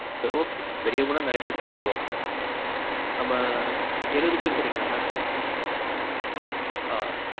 சரி okay. பெரியவங்களும் நெறைய பேர் சாப்பிடுவாங்க. நம்ம. எழுவது பேர் சொன்னிங்களா mam? ஆ.